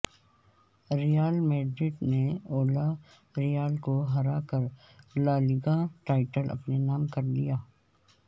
ریال Madrid نے Villarreal کو ہرا کر لالیگا ٹائٹل اپنے نام کر لیا